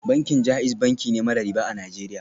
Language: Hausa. Bankin JAIZ banki ne mara riba a Najeriya